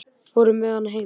Fór með hann heim.